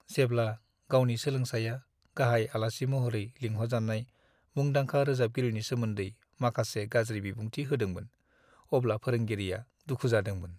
जेब्ला गावनि सोलोंसाया गाहाय आलासि महरै लिंहरजानाय मुंदांखा रोजाबगिरिनि सोमोन्दै माखासे गाज्रि बिबुंथि होदोंमोन, अब्ला फोरोंगिरिआ दुखु जादोंमोन।